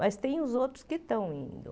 Mas tem os outros que estão indo.